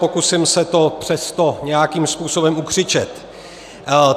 Pokusím se to přesto nějakým způsobem ukřičet.